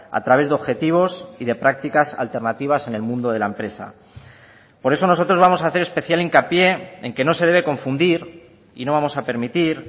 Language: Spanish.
a través de objetivos y de prácticas alternativas en el mundo de la empresa por eso nosotros vamos a hacer especial hincapié en que no se debe confundir y no vamos a permitir